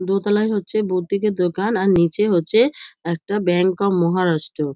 দোতলায় হচ্ছে বোথ দিকে দোকান আর নিচে হচ্ছে একটা ব্যাংক অফ মহারাষ্ট্র।